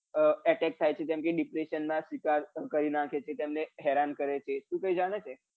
આ atteck થાય છે જેમ કે depression નના શિકાર કરી નાખે છે તેમને હેરાન કરે છે